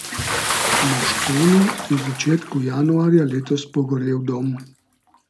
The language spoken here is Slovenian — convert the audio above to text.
Moškonu je v začetku januarja letos pogorel dom.